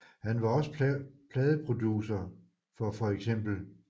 Han var også pladeproducer for feks